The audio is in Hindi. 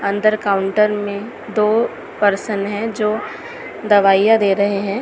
अंदर काउंटर में दो पर्सन हैं जो दवाइयां दे रहे हैं।